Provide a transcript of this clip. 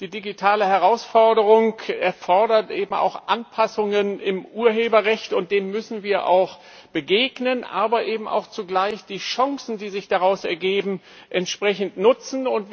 Die digitale Herausforderung erfordert eben auch Anpassungen im Urheberrecht, und denen müssen wir begegnen, aber eben auch zugleich die Chancen, die sich daraus ergeben, nutzen.